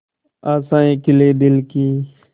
आशाएं खिले दिल की